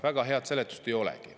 Väga head seletust ei olegi.